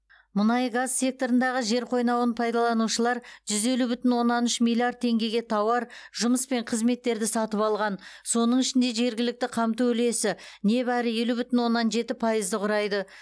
мұнай газ секторындағы жер қойнауын пайдаланушылар жүз елу бүтін оннан үш миллиард теңгеге тауар жұмыс пен қызметтерді сатып алған соның ішінде жергілікті қамту үлесі небәрі елу бүтін оннан жеті пайызды құрайды